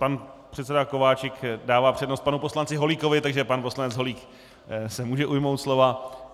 Pan předseda Kováčik dává přednost panu poslanci Holíkovi, takže pan poslanec Holík se může ujmout slova.